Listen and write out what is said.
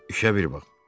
İşə bir bax.